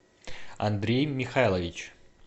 андрей михайлович